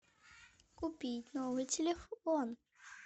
купить новый телефон